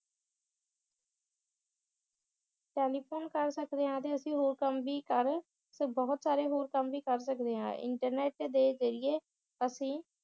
telephone ਕਰ ਸਕਦੇ ਹਾਂ ਤੇ ਅਸੀ ਹੋਰ ਕੰਮ ਵੀ ਕਰ ਤੇ ਬਹੁਤ ਸਾਰੇ ਹੋਰ ਕੰਮ ਵੀ ਕਰ ਸਕਦੇ ਹਾਂ ਇਨਟਰਨੈਟ ਦੇ ਜ਼ਰੀਏ ਅਸੀ